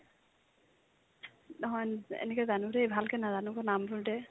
নহয়, এন ~ এনেকে জানো দে ভালকৈ নাজানো নামবোৰ দে